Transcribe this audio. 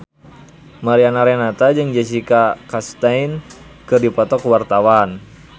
Mariana Renata jeung Jessica Chastain keur dipoto ku wartawan